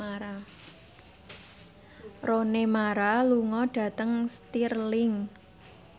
Rooney Mara lunga dhateng Stirling